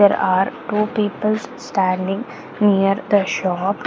there are two people's standing near the shop .